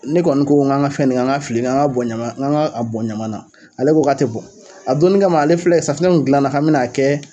Ne kɔni ko k'an ka fɛn nin an ka fili an ka bɔn ɲama an ka bɔn ɲama na ale ko k'a tɛ bɔn, a donni kama ma ale filɛ safinɛ kun gilana k'an bɛn'a kɛ